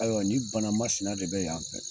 Ayiwa ni banamasina de bɛ yan fɛ